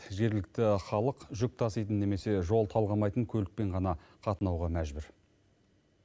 жергілікті халық жүк таситын немесе жол талғамайтын көлікпен ғана қатынауға мәжбүр